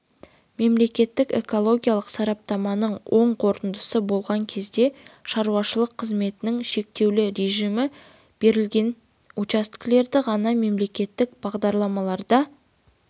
мемлекеттік экологиялық сараптаманың оң қорытындысы болған кезде шаруашылық қызметтің шектеулі режимі белгіленген учаскелерді ғана мемлекеттік бағдарламаларда